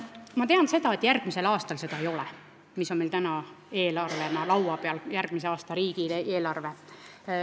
Ma tean seda, et järgmise aasta riigieelarves, mis on meil täna eelnõuna laua peal, seda ei ole.